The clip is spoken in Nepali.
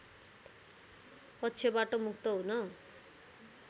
पक्षबाट मुक्त हुन